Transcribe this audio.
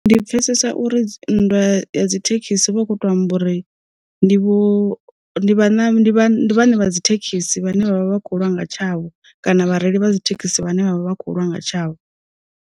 Ndi pfesesa uri nndwa ya dzi thekhisi hu vha hu kho to amba uri, ndi vho vha ndi vhane dzi thekhisi vhane vhavha vha kho u lwa nga tshavho, kana vhareili vha dzi thekhisi vhane vha vha kho lwanga tshavho.